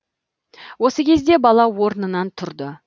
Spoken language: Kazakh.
осы кезде бала орнынан тұрды